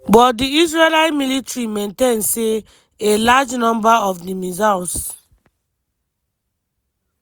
but di israeli military maintain say "a large number" of di missiles